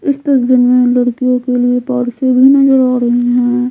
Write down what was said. इस में लड़कियों के लिए पर्स भी नजर आ रही है।